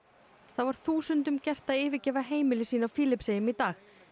þá var þúsundum gert að yfirgefa heimili sín á Filippseyjum í dag